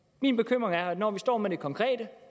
min bekymring er at når vi står med det konkrete